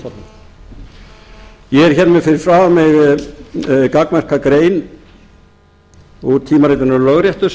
fræðimanna ég er með fyrir framan mig gagnmerka grein úr tímaritinu lögréttu